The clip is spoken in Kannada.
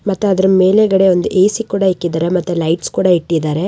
ಮತ್ತ್ ಅದರ ಮೇಲೆ ಒಂದು ಎ_ಸಿ ಸಹ ಇಟ್ಟಿದ್ದಾರೆ ಮತ್ತೆ ಲೈಟ್ಸ್ ಕೂಡ ಇಟ್ಟಿದ್ದಾರೆ.